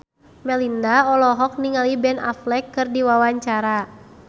Melinda olohok ningali Ben Affleck keur diwawancara